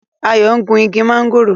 Ayo ń gún ìgi Mángòrò.